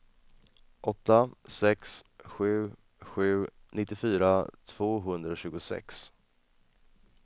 åtta sex sju sju nittiofyra tvåhundratjugosex